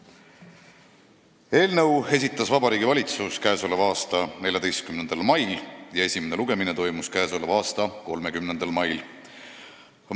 Selle eelnõu esitas Vabariigi Valitsus k.a 14. mail ja esimene lugemine toimus k.a 30. mail.